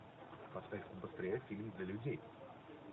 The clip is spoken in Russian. поставь быстрее фильм для людей